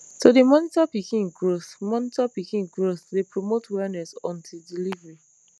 to dey monitor pikin growth monitor pikin growth dey promote wellness until delivery